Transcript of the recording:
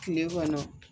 Kile kɔnɔ